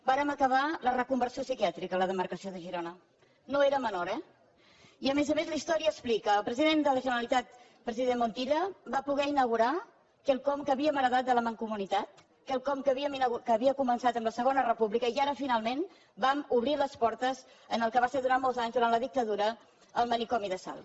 vàrem acabar la reconversió psiquiàtrica a la demarcació de girona no era menor eh i a més a més la història explica el president de la generalitat president montilla va poder inaugurar quelcom que havíem heretat de la mancomunitat quelcom que havia començat amb la segona república i ara finalment vam obrir les portes al que va ser durant molts anys durant la dictadura el manicomi de salt